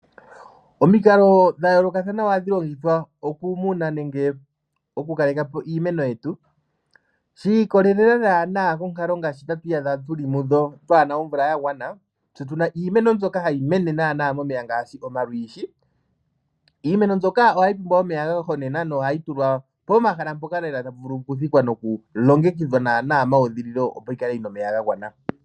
Omikalo dha yoolokathana ohadhi longithwa okumuna nenge okukaleka po iimeno yetu shi ikolelela naana konkalo ngaashi tatu iyadha tuli muyo twaana omvula ya gwana tse tu na iimeno mbyoka hayi mene naana momeya ngaashi omalwiishi. Iimeno mbyoka ohayi pumbwa omeya ga gwanenena nohayi tulwa pomahala mpoka lela tapu vulu kudhikwa nokulongekidhwa naana meudhililo opo yi kale yi na omeya ga gwana.